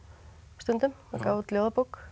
stundum það gaf út ljóðabók